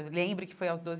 Eu lembro que foi aos doze.